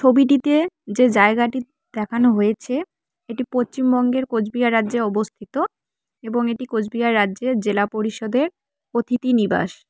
ওবিটিতে যে জায়গাটি দেখানো হয়েছে এটি পচ্চিমবঙ্গের কোচবিহার রাজ্যে অবস্থিত এবং এটি কোচবিহার রাজ্যের জেলা পরিষদের অতিথি নিবাস।